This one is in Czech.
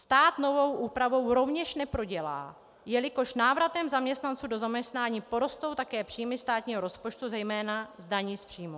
Stát novou úpravou rovněž neprodělá, jelikož návratem zaměstnanců do zaměstnání porostou také příjmy státního rozpočtu zejména z daní z příjmů.